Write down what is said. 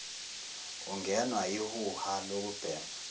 ungenwa yihuha lokubhema